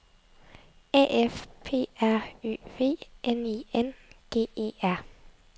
A F P R Ø V N I N G E R